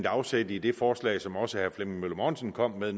afsæt i det forslag som også herre flemming møller mortensen kom med